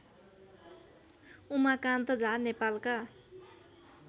उमाकान्त झा नेपालका